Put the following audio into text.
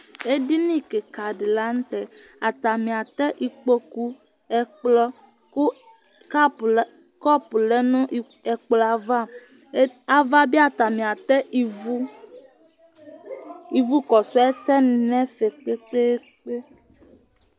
Ɛdiní kìka di la ntɛ Atani atɛ ikpoku, ɛkplɔ kʋ kɔpu lɛ nʋ ɛkplɔ ava Ava bi atani atɛ ívu Ivu kɔsu ɛsɛ ni nʋ ɛfɛ kpe kpe kpe